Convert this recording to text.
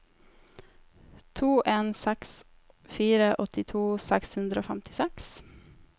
to en seks fire åttito seks hundre og femtiseks